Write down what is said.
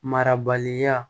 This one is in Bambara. Marabaliya